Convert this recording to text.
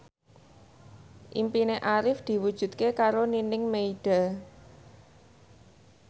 impine Arif diwujudke karo Nining Meida